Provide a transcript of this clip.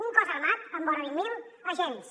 un cos armat amb vora vint mil agents